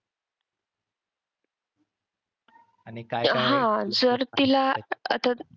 हा जर तिला आता,